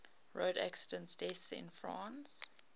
road accident deaths in france